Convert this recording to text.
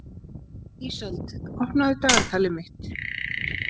Ísold, opnaðu dagatalið mitt.